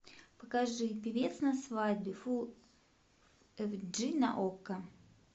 покажи певец на свадьбе фул эйч ди на окко